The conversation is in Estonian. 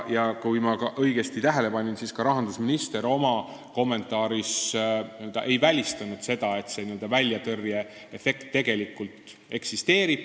Kui ma õigesti tähele panin, siis ka rahandusminister oma kommentaaris ei välistanud seda, et see n-ö väljatõrjeefekt tegelikult eksisteerib.